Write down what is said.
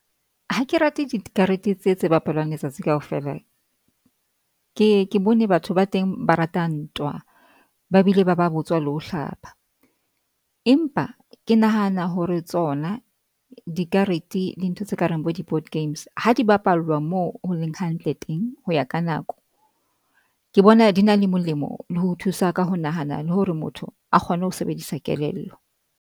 Ha ke rate dikarete tse tse bapalwang letsatsi kaofela. Ke ye ke bone batho ba teng, ba rata ntwa ba bile ba ba botswa le ho hlapa, empa ke nahana hore tsona dikarete le dintho tse kareng bo di-board games ha di bapallwa moo ho leng hantle teng, ho ya ka nako ke bona di na le molemo le ho thusa ka ho nahana le hore motho a kgone ho sebedisa kelello.